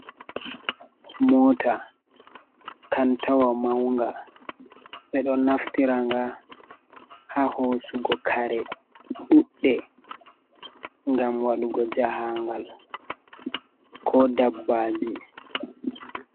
Mota kantawa maunga, ɓe ɗo naftiraga haa hosugo kare ɗuɗɗe, ngam waɗugo jahangal, ko dabbaji.